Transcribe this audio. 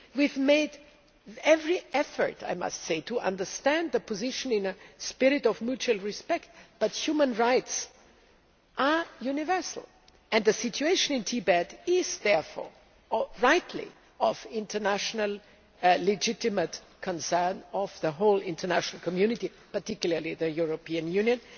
We have made every effort to understand the position in a spirit of mutual respect, but human rights are universal, and the situation in Tibet is therefore rightly of international legitimate concern to the whole international community, particularly the European Union.